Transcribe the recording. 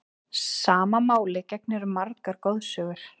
Sama máli gegnir um margar goðsögur.